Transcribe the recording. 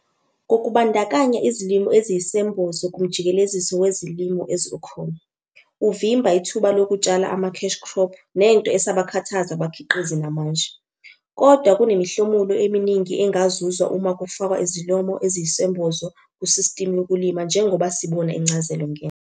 Ngokubandakanya izilimo eziyisembozo kumjikeleziso wezilimo okhona, uvimba ithuba lokutshala ama-cash crop, nento esabakhathaza abakhiqizi namanje. Kodwa kunemihlomulo eminingi engazuzwa uma kufakwa izilomo eziyisembozo kusistimu yokulima njengoba sibona incazelo ngenhla.